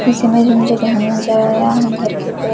इस समय जो मुझे टहलना चल रहा है घर के ऊपर--